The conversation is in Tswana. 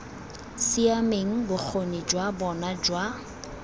siameng bokgoni jwa bona jwa